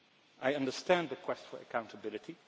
I understand the quest for accountability.